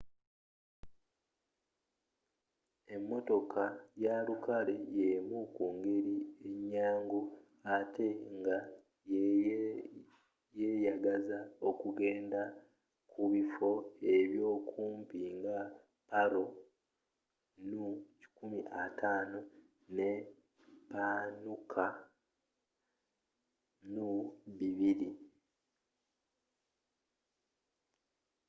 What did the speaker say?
emmotoka ya lukale yemu ku ngeri enyangu atte nga yeyagaza okugenda ku bifo ebyo kumpi nga paro nu 150 ne punakha nu 200